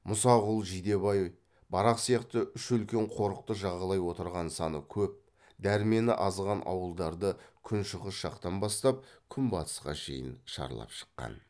мұсақұл жидебай барақ сияқты үш үлкен қорықты жағалай отырған саны көп дәрмені азған ауылдарды күншығыс жақтан бастап күнбатысқа шейін шарлап шыққан